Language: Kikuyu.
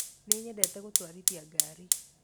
Nĩnyendete gũtwarithia ngari